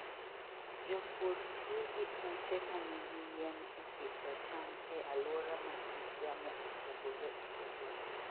Jopur tiyo gi ute ma nigi yien e pidho cham e alwora ma kit yamo opogore opogore.